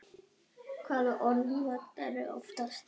Hvaða orð notarðu oftast?